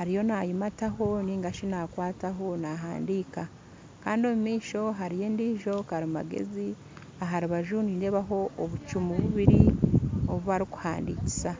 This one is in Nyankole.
ariyo nayimataho ningashi nakwataho nahandiika Kandi omumaisho nindeebayo endiijo karimageezi aharubaju nindeebaho obucumu bubiri obubarikuhandikisa